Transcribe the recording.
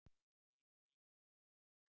Þín Líf.